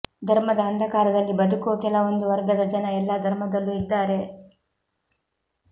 ಧರ್ಮದ ಅಂಧಕಾರದಲ್ಲಿ ಬದುಕೋ ಕೆಲವೊಂದು ವರ್ಗದ ಜನ ಎಲ್ಲಾ ಧರ್ಮದಲ್ಲೂ ಇದ್ದಾರೆ